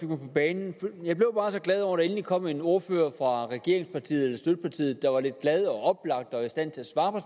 mig på banen jeg blev bare så glad over at der endelig kom en ordfører fra støttepartiet der var lidt glad og oplagt og i stand til at svare på